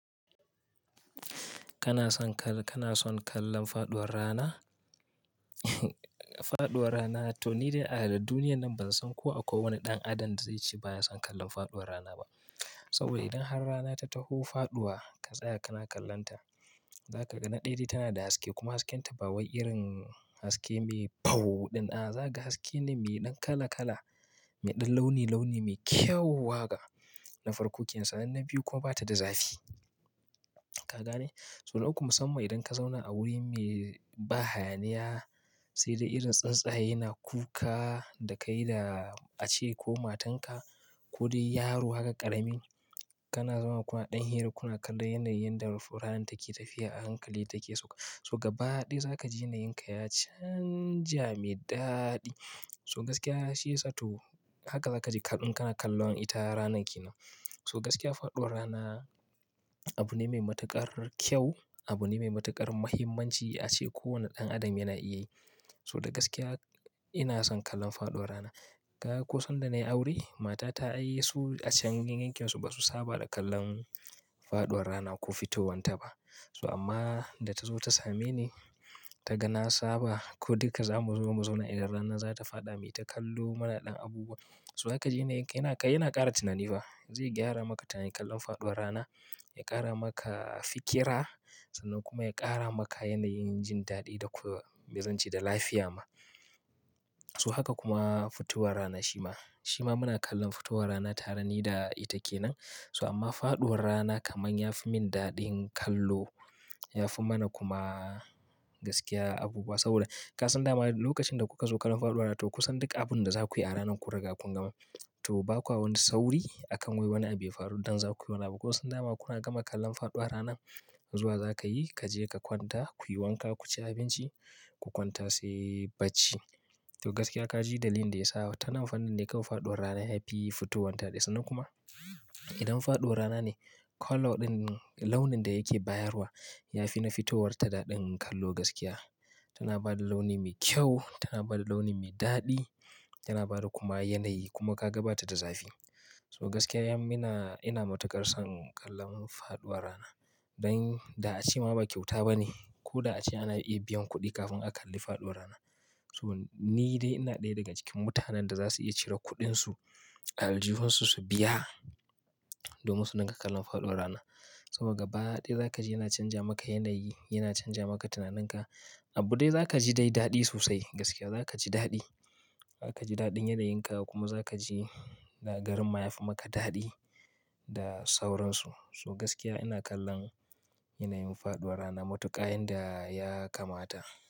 Kana son kallan faɗuwar rana? Faɗuwar rana to ni dai a duniya nan ban san ko akwai wani ɗan adam da zai ce ba ya son kallon faɗuwar rana ba. Saboda idan har rana ta taho faɗuwa, ka tsaya kana kallonta, za ka ga na ɗaya dai tana da haske kuma hasken ta bawai irin haske mai paho ɗin a, za ka ga haske ne mai ɗan kala kala, mai ɗan launi launi, mai kyau haka na farko kenan sannan na biyu kuma bata da zafi. Ka gane? So na uku musamman idan ka zauna a wuri mai ba hayaniya sai dai irin tsintsaye yana kuka da kai da ace ko matan ka ko dai yaro haka ƙaramin, kana zama kuma ɗan hira kuna kallon yanayin da rufe ranan take tafiya a hankali take suka. So gaba ɗaya za ka ji yanayin ka ya canja mai daɗi. So gaskiya shiyasa to haka za ka ji kaɗan kana kallon ita ranan ke nan. So gaskiya faɗuwar rana abu ne mai matuƙar kyau, abu ne mai matuƙar muhimmanci a ce kowane ɗan adam yana iya yi. So da gaskiya ina son kallon faɗuwar rana. Kaga ko sanda na yi aure, matar ta ai su a can yankin su ba su saba da kallon faɗuwar rana ko fitowan ta ba. So amma da ta zo ta same ni, ta ga na saba ko duk da za mu zo mu zauna idan rana za ta faɗa, me ta kallo mana ɗan abubuwa. So zaka ji ne yana ƙara tunani fa. Zai gyara maka tunanin kallon faɗuwar rana, ya ƙara maka fikira sannan kuma ya ƙara maka yanayin jin daɗi da kuma mai zance da lafiya ma. So haka kuma fitowar rana shima, shima muna kallon fitowar rana tare ni da ita ke nan. So amma faɗuwar rana kaman ya fi min daɗin kallo. Ya fi mana kuma gaskiya abubuwa saboda ka san dama lokacin da kuka zo kallon faɗuwar rana to kusan duk abun da za ku yi a ranan kun riga kun gama. To ba kwa wani sauri akan wai wani abu ya faru don za ku yi wani abu. Ko san dama kuna gama kallon faɗuwar ranan zuwa za ka yi, ka je ka kwanta, kuyi wanka ku ci abinci ku kwanta sai bacci. To gaskiya ka ji dalilin da ya sa ta nan fannin dai kawai da yafi faɗuwar rana yafi fitowan ta ɗaya sannan kuma idan faɗuwar rana ne, colour ɗin launin da yake bayarwa ya fi na fitowar ta daɗin kallo gaskiya. Tana bada launi mai kyau, tana bada launi mai daɗi, yana bada kuma yanayi kuma kaga bata da zafi. So gaskiya yan mina ina matuƙar son kallon faɗuwar rana. Dan da a ce ma ba kyauta bane ko da a ce ana iya biyan kuɗi kafin a kalli faɗuwar rana. So ni dai ina ɗaya daga cikin mutanen da za su iya cire kuɗin su, aljuhun su su biya domin su dinga kallon faɗuwar rana saboda gaba ɗaya zaka ji yana canja maka yanayi, yana canja maka tunaninka. Abu dai zaka ji dai daɗi sosai gaskiya zaka ji daɗi. Zaka ji daɗin yanayin ka kuma za ka ji garin ma ya fi maka daɗi da sauransu. So gaskiya ina kallon yanayin faɗuwar rana matuƙa yayin da ya kamata.